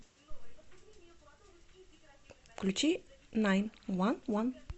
включи найн уан уан